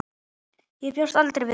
Ég bjóst aldrei við því.